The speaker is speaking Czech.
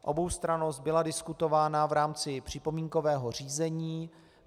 Oboustrannost byla diskutována v rámci připomínkového řízení.